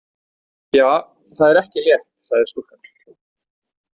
Ja, það er ekki létt, sagði stúlkan.